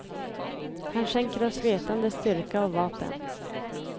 Han skänker oss vetande, styrka och vapen.